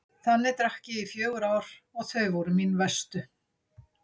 Þannig drakk ég í fjögur ár og þau voru mín verstu.